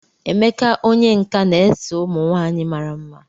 Emeka onye nka na-ese ụmụ nwanyị mara mma.